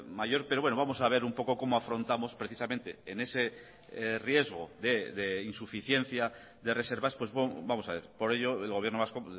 mayor pero bueno vamos a ver un poco como afrontamos precisamente en ese riesgo de insuficiencia de reservas vamos a ver por ello el gobierno vasco